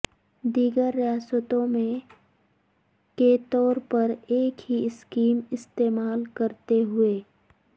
دیگر ریاستوں میں کے طور پر ایک ہی سکیم استعمال کرتے ہوئے